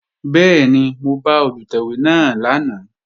Bẹ́ẹ̀ni, mo bá Olùtẹ̀wé náà lánàá